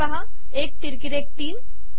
हे पहा १ तिरकी रेघ ३